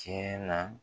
Tiɲɛ na